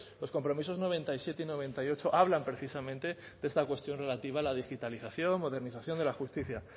los compromisos noventa y siete noventa y ocho hablan precisamente de esta cuestión relativa a la digitalización modernización de la justicia